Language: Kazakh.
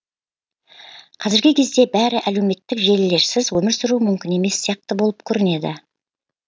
қазіргі кезде бәрі әлеуметтік желілерсіз өмір сүру мүмкін емес сияқты болып көрінеді